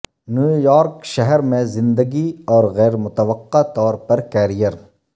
New York شہر میں زندگی اور غیر متوقع طور پر کیریئر